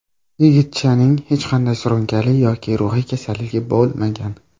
Yigitchaning hech qanday surunkali yoki ruhiy kasalligi bo‘lmagan.